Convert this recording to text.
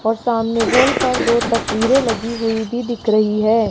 और सामने वॉल पर दो तस्वीरे लगी हुई भी दिख रही है।